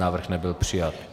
Návrh nebyl přijat.